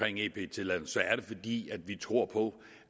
at give en ep tilladelse er det fordi vi tror på